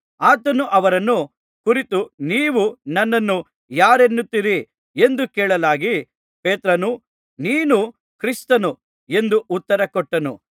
ಆತನು ಅವರನ್ನು ಕುರಿತು ನೀವು ನನ್ನನ್ನು ಯಾರನ್ನುತ್ತೀರಿ ಎಂದು ಕೇಳಲಾಗಿ ಪೇತ್ರನು ನೀನು ಕ್ರಿಸ್ತನು ಎಂದು ಉತ್ತರಕೊಟ್ಟನು